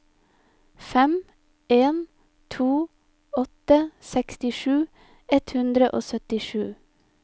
fem en to åtte sekstisju ett hundre og syttisju